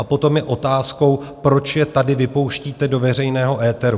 A potom je otázkou, proč je tady vypouštíte do veřejného éteru.